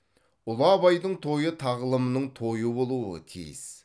ұлы абайдың тойы тағылымның тойы болуы тиіс